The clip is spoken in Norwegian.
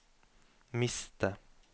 miste